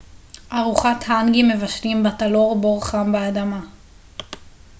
ארוחת האנגי מבשלים בתלור בור חם באדמה